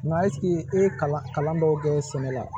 Nka ɛsike e ye kalan kalan dɔw kɛ sɛnɛ la